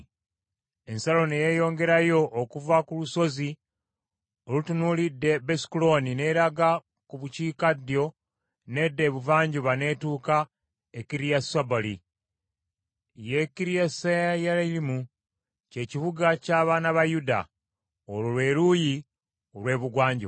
Ensalo ne yeeyongerayo okuva ku lusozi olutunuulidde Besukolooni n’eraga ku bukiikaddyo n’edda ebuvanjuba n’etuuka e Kiriasubaali, ye Kiriyasuyalimu, kye kibuga ky’abaana ba Yuda. Olwo lwe luuyi olw’ebugwanjuba.